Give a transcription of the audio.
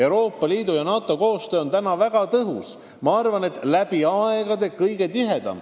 Euroopa Liidu ja NATO koostöö on väga tõhus – ma arvan, et see on praegu läbi aegade kõige tihedam.